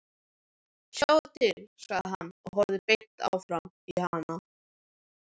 Sjáðu til, sagði hann og horfði beint framan í hana.